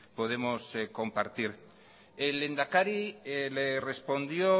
podemos compartir el lehendakari le respondió